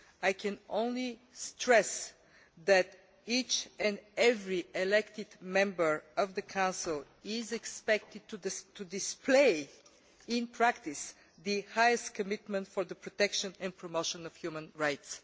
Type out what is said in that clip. I can only stress that each and every elected member of the Council is expected to display in practice the highest commitment to the protection and promotion of human rights.